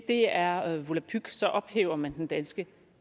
det er volapyk så ophæver man den danske